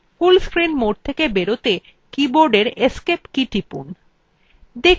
full screen mode থেকে বেরোতে keyboardin escape key টিপুন